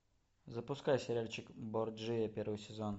запускай сериальчик борджиа первый сезон